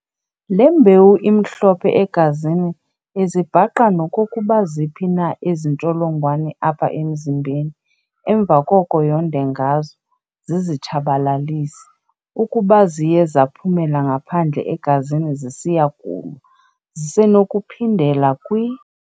Le mbewu imhlophe egazini izibhaqa nokokuba ziphi na ezi ntsholongwane apha emzimbeni, emva koko yonde ngazo, zizitshabalalise. Ukuba ziye zaphumela ngaphandle egazini zisiya kulwa ], zisenokuphindela kwi].